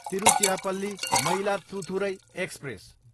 Tiruchirappalli, Mayiladuthurai express